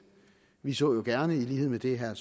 vi så gerne i lighed med det herre